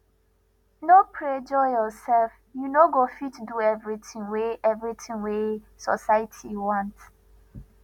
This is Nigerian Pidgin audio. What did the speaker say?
no pressure yoursef you no go fit do everytin wey everytin wey society want